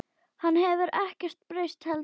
Hann hefur ekkert breyst heldur.